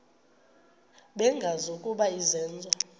bengazi ukuba izenzo